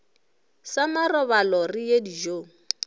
sa marobalo re ye dijong